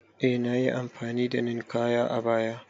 Eh nayi amfani da Ninkaya a baya